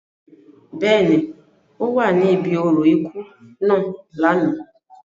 Bẹ́ẹ̀ni, o wa ni ibi orȯ iku naa lánà.